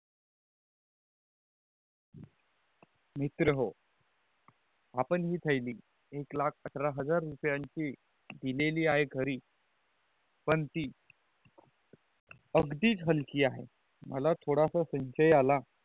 मित्रहों आपण जे थेली एक लाख सतरा हजार रुपयांची दिलेली आहे घरी पान ती अगदीच हल्की आहे मला थोडासा संचय आला